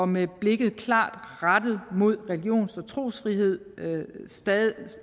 med blikket klart rettet mod religions og trosfrihedens stadig